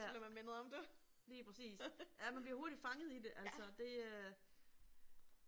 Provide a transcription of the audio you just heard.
Ja. Lige præcis. Ja man bliver hurtigt fanget i det altså det øh